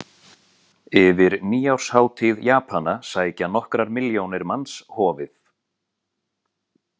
Yfir nýárshátíð japana sækja nokkrar milljónir manns hofið.